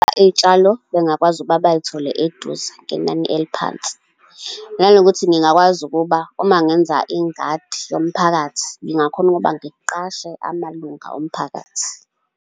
Iy'tshalo bengakwazi ukuba bay'thole eduze, ngenani eliphansi. Nanokuthi ngingakwazi ukuba uma ngenza ingadi yomphakathi ngingakhona ukuba ngiqashe amalunga omphakathi.